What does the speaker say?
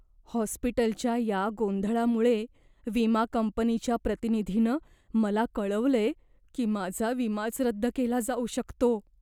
हॉस्पिटलच्या या गोंधळामुळे विमा कंपनीच्या प्रतिनिधीनं मला कळवलंय की माझा विमाच रद्द केला जाऊ शकतो!